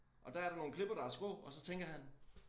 Og der er der nogle klipper der er skrå og så tænker han